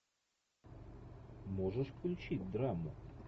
можешь включить драму